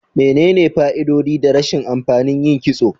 Menene fa'idodi da rashin amfani yin kitso?